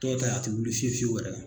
Dɔ ta ye a te wili fiyewu fiyewu yɛrɛ